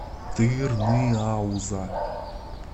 тырныауза